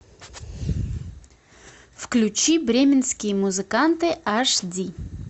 включи бременские музыканты аш ди